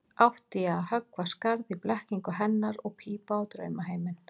Átti ég að höggva skarð í blekkingu hennar og pípa á draumaheiminn?